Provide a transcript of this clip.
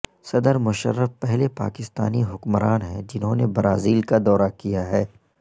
صد مشرف پہلے پاکستانی حکمران ہیں جنہوں نے برازیل کا دورہ کیا ہے